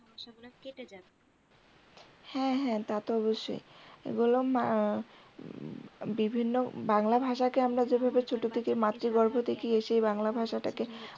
হ্যাঁ হ্যাঁ তা তো অবশ্যই এগুলো বিভিন্ন বাংলা ভাষাকে আমরা যেভাবে ছোট থেকেই মাতৃগর্ভ থেকে এসে বাংলা ভাষাটাকে